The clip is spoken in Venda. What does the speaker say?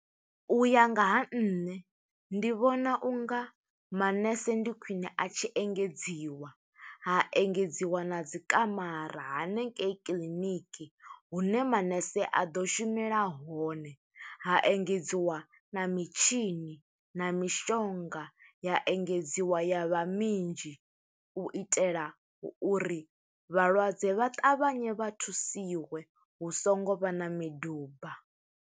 U ya nga ha nṋe, ndi vhona u nga manese ndi khwiṋe a tshi engedziwa, ha engedziwa na dzi kamara hanengei kiḽiniki hune manese a ḓo shumela hone. Ha engedziwa na mitshini na mishonga, ya engedziwa ya vha minzhi. U itela uri vhalwadze vha ṱavhanye vha thusiwe, hu songo vha na miduba.